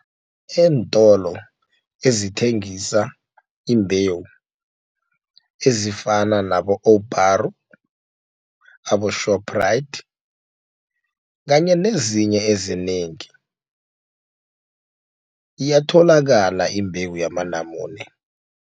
Eentolo ezithengisa imbewu ezifana nabo-Owubharo nabo-Shoprite kanye nezinye ezinengi iyatholakala imbewu yamanamune.